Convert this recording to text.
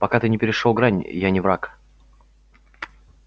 пока ты не перешёл грани я не враг